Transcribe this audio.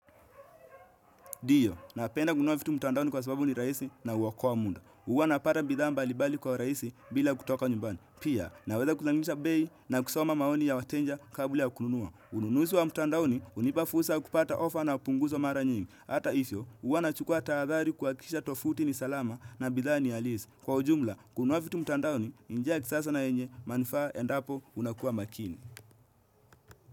Ndiyo, napenda kununua vitu mtandaoni kwa sababu ni rahisi na huokoa muda. Huwa napata bidhaa mbali mbali kwa urahisi bila kutoka nyumbani. Pia, naweza kulinganisha bei, na kusoma maoni ya wateja, kabla ya kununua. Ununuzi wa mtandaoni, unipafursa ya kupata ofa na kupunguzwa mara nyingi. Hata hivyo, huwa na chukua tahadhari kuakikisha tofuti ni salama na bidhaa ni halisi. Kwa ujumla, kununua vitu mtandaoni. Ni njia ya kisasa na yenye, manufaa, endapo, unakuwa makini.